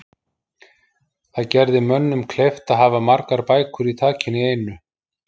Það gerði mönnum kleift hafa margar bækur í takinu í einu.